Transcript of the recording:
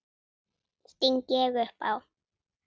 sting ég upp á.